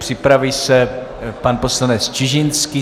Připraví se pan poslanec Čižinský.